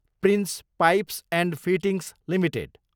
prince Pipes and Fittings limited